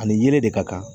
Ani yelen de ka kan